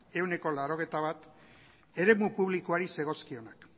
ehuneko laurogeita bat eremu publikoari zegozkionak